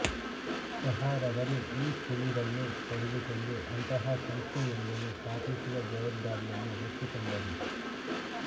ಸಹಾರವರು ಈ ಸುಳಿವನ್ನು ಪಡೆದುಕೊಂಡು ಅಂತಹ ಸಂಸ್ಥೆಯೊಂದನ್ನು ಸ್ಥಾಪಿಸುವ ಜವಾಬ್ದಾರಿಯನ್ನು ಹೊತ್ತುಕೊಂಡರು